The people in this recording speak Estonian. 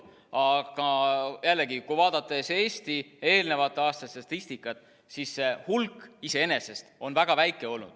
Aga jällegi, kui vaadata Eesti eelnevate aastate statistikat, siis see hulk iseenesest on olnud väga väike.